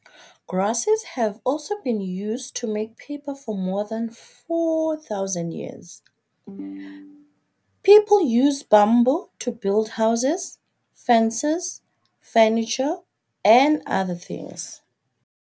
Grasses have also been used to make paper for more than 4000 years. People use bamboo to build houses, fences, furniture and other things.